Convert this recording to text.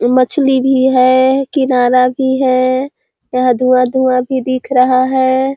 मछली भी है किनारा भी है यहाँ धुआं - धुआं भी दिख रहा है।